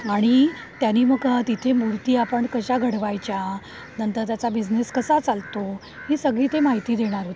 आणि त्यांनी मग तिथे मूर्ती आपण कशा घडवायच्या, नंतर त्याचा बिझनेस कसा चालतो, ही सगळी ते माहिती देणार होते.